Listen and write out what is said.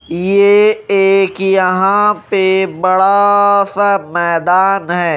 ये एक यहां पे बड़ा सा मैदान है।